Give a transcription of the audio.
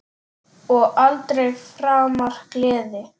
Og aldrei framar gleði.